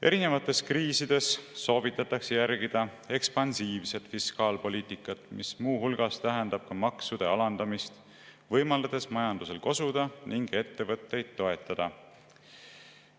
Erinevate kriiside korral soovitatakse järgida ekspansiivset fiskaalpoliitikat, mis muu hulgas tähendab maksude alandamist, võimaldades majandusel kosuda ning ettevõtteid toetada.